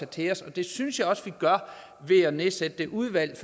til os og det synes jeg også vi gør ved at nedsætte det udvalg